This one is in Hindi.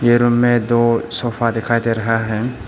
रूम में दो सोफा दिखाई दे रहा है।